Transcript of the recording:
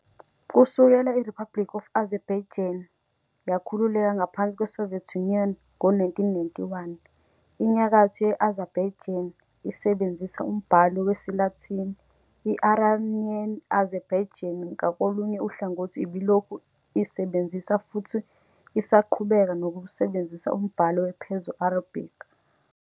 Kusukela i-Republic of Azerbaijan yakhululeka ngaphansi kweSoviet Union ngo-1991, inyakatho ye-Azerbaijani isebenzisa umbhalo wesiLatini. I-Iranian Azerbaijani ngakolunye uhlangothi ibilokhu isebenzisa futhi isaqhubeka nokusebenzisa umbhalo we- Perso-Arabic.